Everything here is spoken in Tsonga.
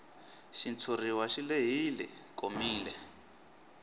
xitshuriwa xi lehile komile